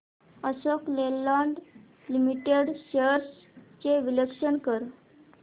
Ashok Leyland limited shares चे विश्लेषण कर